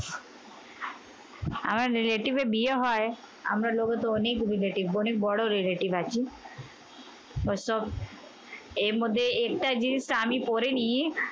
আমার relative এর বিয়ে হয়, আমরা লোগে তো অনেক relative অনেক বড় relative আছে। অবশ্য এর মধ্যে একটা জিনিস আমি পড়ে নিই।